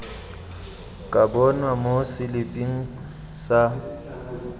ka bonwa mo seliping sa